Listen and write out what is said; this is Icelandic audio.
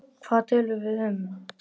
Hvað töluðum við um?